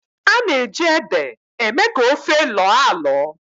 a na-eji ede eme ka ofe lọọ alọ